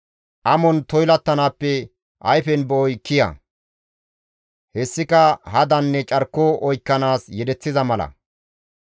Amon toylattanaappe ayfen be7oy kiya; hessika hadanne carko oykkanaas yedeththiza mala